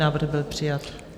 Návrh byl přijat.